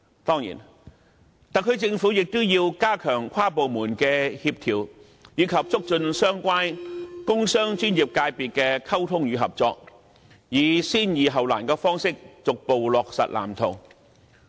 當然，特區政府亦要加強跨部門協調，以及促進相關工商專業界別的溝通與合作，以先易後難的方式，逐步落實《藍圖》。